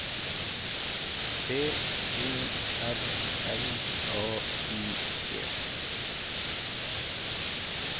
T O R L A U G